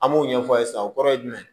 An m'o ɲɛfɔ aw ye sisan o kɔrɔ ye jumɛn ye